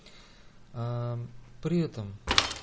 при этом